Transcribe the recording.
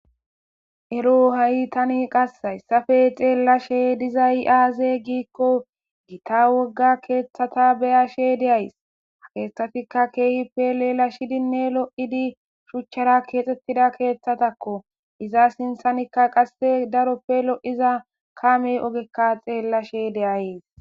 Eroo hayi tani qasi hayissappe xellaashshe dizayi aze gikko Gita wogaa keththata be'ashshe de'ayis.haa keththatikka kehippe lelashshidinne lo'idi shuchchara kexetida keththatakko .iza sinththennikka qasi daro kehippe daro lo'iza kame ogee xeelashshe de'ayis.